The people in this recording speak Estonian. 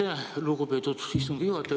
Aitäh, lugupeetud istungi juhataja!